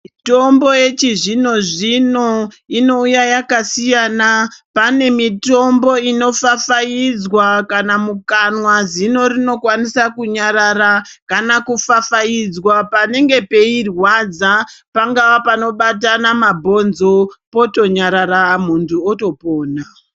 Mitombo yechizvino-zvino inouya yakasiyana. Pane mitombo inopfapfaidzwa kana mukanwa, zino rinokwanisa kunyarara. Kana kupfapfaidzwa panenge peirwadza pangava panobatana mabhonzo, potonyarara, muntu otopona.